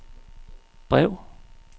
brev